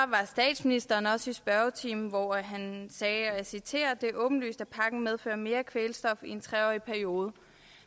statsministeren også i spørgetimen hvor han sagde og jeg citerer det er åbenlyst at pakken medfører mere kvælstof i en tre årig periode